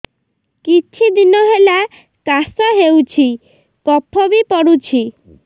କିଛି ଦିନହେଲା କାଶ ହେଉଛି କଫ ବି ପଡୁଛି